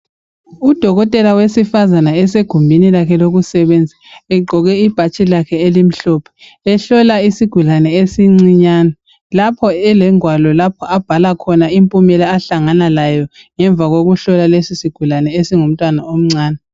Udokotela owesifazana usegumbini lakhe lokusebenzela, Egqoke ibhatshi lakhe elimhlophe. Ehlola isigulane esincane. Lapho elengwalo lapha abhala khona impumela ahlangana layo, ngemva kokuhlola lesisigulane esingumntwana omncane.